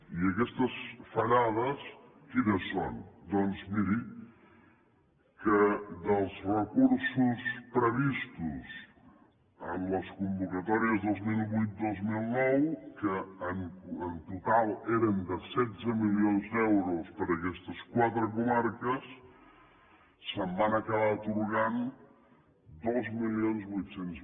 i aquestes fallades quines són doncs miri que dels recursos previstos en les convocatòries dos mil vuit dos mil nou que en total eren de setze milions d’euros per a aquestes quatre comarques es van acabar atorgant dos mil vuit cents